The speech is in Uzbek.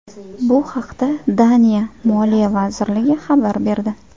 Bu haqda Daniya Moliya vazirligi xabar berdi .